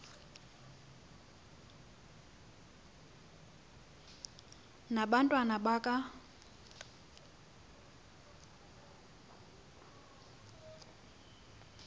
na abantwana baka